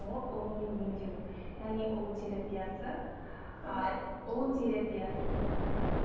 ол ұлумен емдеу яғни ұлу терапиясы ұлу терапиясы